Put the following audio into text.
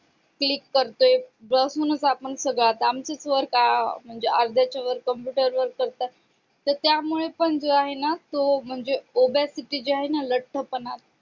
click करतोय घरून सगळं आपण आता स्वतः त्याच्यावर computer वर करतात तर त्यामुळे पण जे आहे ना तो म्हणजे obesity जो आहे ना लठ्ठपणा